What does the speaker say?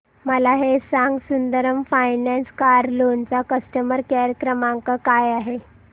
मला हे सांग सुंदरम फायनान्स कार लोन चा कस्टमर केअर क्रमांक काय आहे